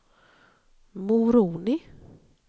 Moroni